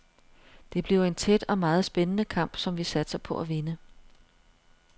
Det bliver en tæt og meget spændende kamp, som vi satser på at vinde.